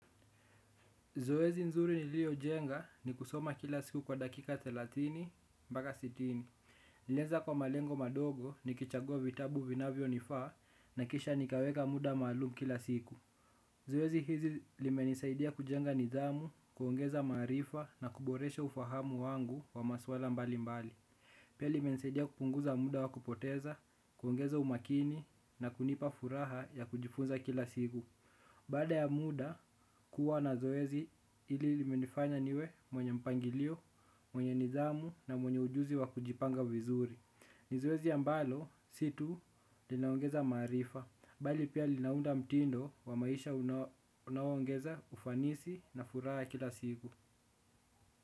Zoezi nzuri niliojenga ni kusoma kila siku kwa dakika thelathini mbaka sitini. Nilianza kwa malengo madogo nikichagua vitabu vinavyonifaa na kisha nikaweka muda maalum kila siku. Zoezi hizi limenisaidia kujenga nidhamu, kuongeza maarifa na kuboresha ufahamu wangu wa masuala mbalimbali. Pia limenisaidia kupunguza muda wa kupoteza, kuongeza umakini na kunipa furaha ya kujifunza kila siku. Baada ya muda kuwa na zoezi hili limenifanya niwe mwenye mpangilio, mwenye nidhamu na mwenye ujuzi wa kujipanga vizuri. Ni zoezi ambalo, situ, linaongeza maarifa. Bali pia linaunda mtindo wa maisha unaongeza, ufanisi na furaha kila siku.